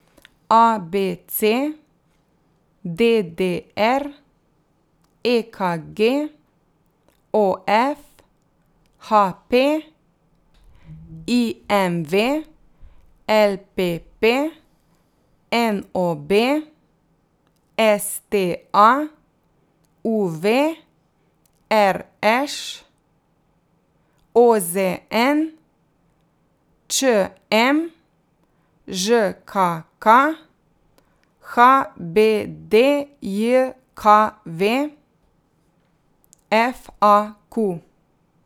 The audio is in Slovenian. A B C; D D R; E K G; O F; H P; I M V; L P P; N O B; S T A; U V; R Š; O Z N; Č M; Ž K K; H B D J K V; F A Q.